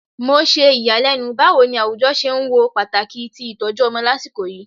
Mo ṣe iyanilenu bawo ni awujọ ṣe n wo pataki ti itọju ọmọ lasiko yii